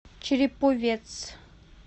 череповец